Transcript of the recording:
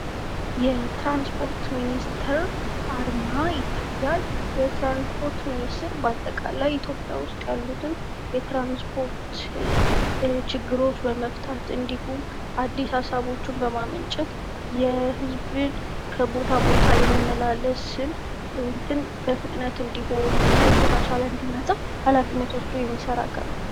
የትራንስፖርት ሚኒስቴር አርማ ይታያል። የትርንስፖርት ሚንስትር በአጠቃላይ በኢትዮጵያ ያለውን የትራንስፖርት ችግር ለመፍታት የህዝብን ከቦታ ቦታ መመላለስ የተሻለና የተፋጠነ እንዲሆን ሀላፊነት የሚወጣ ነው ።